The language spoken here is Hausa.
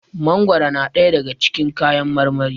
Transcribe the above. mangoro na daya daga cikin kayan marmari